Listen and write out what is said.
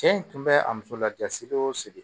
Cɛ in tun bɛ a muso lajasi o sigi